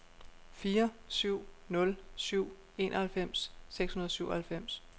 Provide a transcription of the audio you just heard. fire syv nul syv enoghalvfems seks hundrede og syvoghalvfems